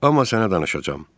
Amma sənə danışacağam.